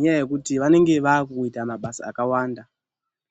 ngekuti vanenge vaakuita mishando yakawanda.